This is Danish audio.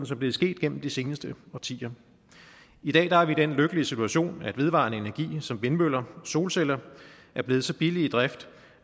som det er sket igennem de seneste årtier i dag er vi i den lykkelige situation at vedvarende energi som vindmøller og solceller er blevet så billige i drift